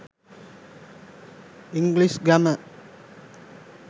english grammar